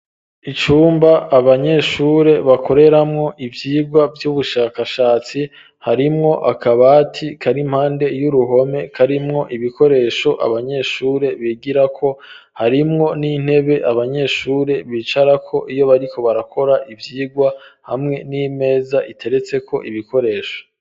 Icumba abanyeshure bakoreramwo ivyirwa vy'ubushakashatsi harimwo akabati karimpande y'uruhome karimwo ibikoresho abanyeshure bigira ko harimwo n'intebe abanyeshure bicara ko iyo bariko barakora ivyirwa hamwe n'imeza iteretse ko ibikoresho.